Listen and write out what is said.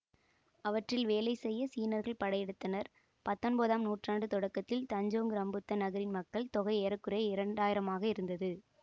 அவற்றில் வேலை செய்ய சீனர்கள் படையெடுத்தனர் பத்தொன்பதாம் நூற்றாண்டு தொடக்கத்தில் தஞ்சோங் ரம்புத்தான் நகரின் மக்கள் தொகை ஏற குறைய இரண்டு ஆயிரம் ஆக இருந்தது